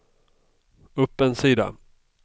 upp en sida